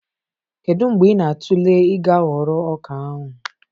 Kedu mgbe ị na-atụle ịga ghọrọ ọka ahụ?